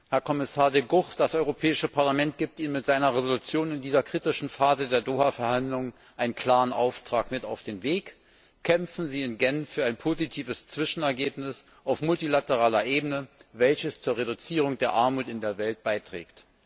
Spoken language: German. Herr Kommissar De Gucht, das Europäische Parlament gibt Ihnen mit seiner Entschließung in dieser kritischen Phase der Doha Verhandlungen einen klaren Auftrag mit auf den Weg Kämpfen Sie in Genf für ein positives Zwischenergebnis auf multilateraler Ebene, welches zur Reduzierung der Armut in der Welt beiträgt!